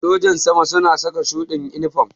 Sojin sama suna saka shuɗin inifam